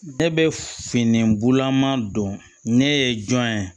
Ne bɛ fini bolaman don ne ye jɔn ye